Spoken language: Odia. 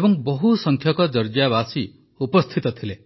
ଏବଂ ବହୁସଂଖ୍ୟକ ଜର୍ଜିଆବାସୀ ଉପସ୍ଥିତ ଥିଲେ